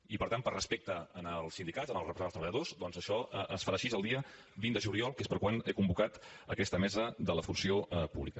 i per tant per respecte als sindicats als representants dels treballadors doncs això es farà així el dia vint de juliol que és per quan he convocat aquesta mesa de la funció pública